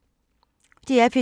DR P2